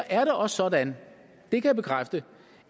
er det også sådan det kan jeg bekræfte